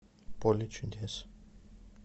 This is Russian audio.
поле чудес